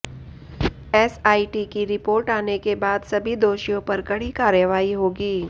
SIT की report आने के बाद सभी दोषियों पर कड़ी कार्रवाई होगी